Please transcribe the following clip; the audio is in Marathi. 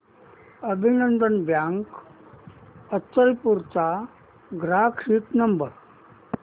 अभिनंदन बँक अचलपूर चा ग्राहक हित नंबर